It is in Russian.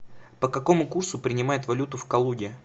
по какому курсу принимают валюту в калуге